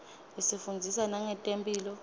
isifundzisa nangetemphilo